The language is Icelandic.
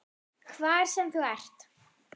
Hvar sem þú ert.